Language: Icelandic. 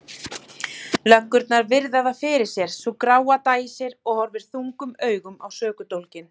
Löggurnar virða það fyrir sér, sú gráa dæsir og horfir þungum augum á sökudólginn.